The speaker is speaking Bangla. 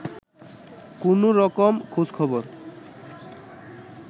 কোনো রকম খোঁজখবর